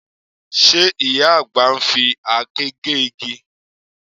Ṣe ìyá àgbà ń fi àáké gé igi?